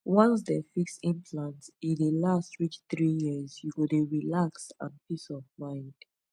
once dem fix implant e dey last reach 3yrs u go dey relax and peace of mind